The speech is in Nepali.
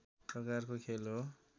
प्रकारको खेल हो